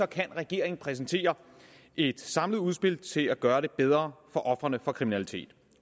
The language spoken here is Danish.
kan regeringen præsentere et samlet udspil til at gøre det bedre for ofrene for kriminalitet